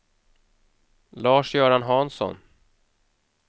Lars-Göran Hansson